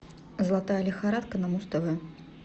золотая лихорадка на муз тв